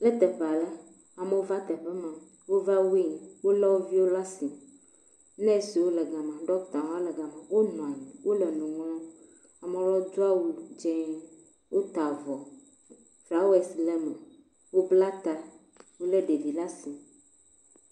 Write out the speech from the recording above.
Le teƒe aɖe. Amewo va teƒe ma. Wova weying. Wo le wo viwo ɖe asi. Nɔsiwo le ga ma. Ɖɔkita hã le ga ma wo nɔ anyi. Wo le nu ŋlɔm. Ame aɖewo do awu dzi. Wota avɔ flawesi le eme. Wobla ta. Wo le ɖevi ɖe asi.